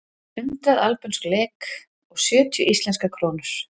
Hundrað albönsk lek eða sjötíu íslenskar krónur.